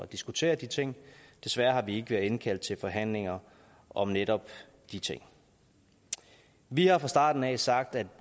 diskutere de ting desværre har vi ikke været indkaldt til forhandlinger om netop de ting vi har fra starten af sagt at